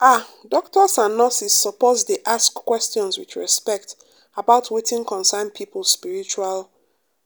ah doctors and nurses suppose dey ask questions with respect about wetin concern people spiritual